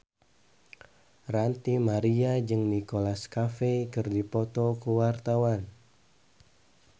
Ranty Maria jeung Nicholas Cafe keur dipoto ku wartawan